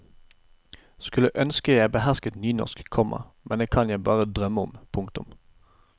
Skulle ønske jeg behersket nynorsk, komma men det kan jeg bare drømme om. punktum